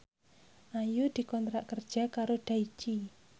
Ayu dikontrak kerja karo Daichi